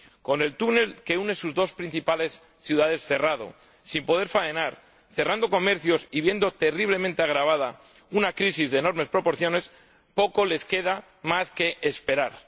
Con el túnel que une sus dos principales ciudades cerrado, sin poder faenar, cerrando comercios y viendo terriblemente agravada una crisis de enormes proporciones, poco más les queda que esperar.